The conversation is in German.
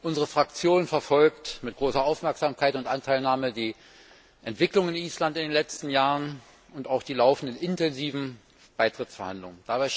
Unsere Fraktion verfolgt mit großer Aufmerksamkeit und Anteilnahme die Entwicklung in Island in den letzten Jahren und auch die laufenden intensiven Beitrittsverhandlungen.